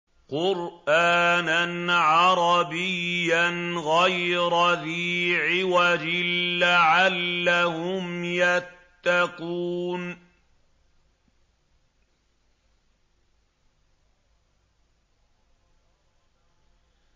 قُرْآنًا عَرَبِيًّا غَيْرَ ذِي عِوَجٍ لَّعَلَّهُمْ يَتَّقُونَ